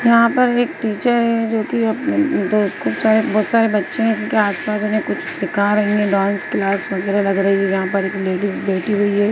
यहाँ पर एक टीचर है जो कि अ-अ खूब सारे बहोत सारे बच्चे हैं इनके आसपास उन्हें कुछ सीखा रही हैं डांस क्लास वगेहरा लग रही है जहाँ पर एक लेडीज बैठी हुई है।